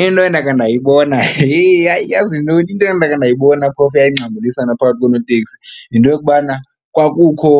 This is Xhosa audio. Into endakhe ndayibona, hee, hayi yazi yintoni, into endakhe ndayibona phofu eyayingxambulisana phakathi konooteksi yinto yokubana kwakukho